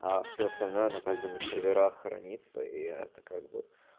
а все остальное ну как бы на серверах хранится и это как бы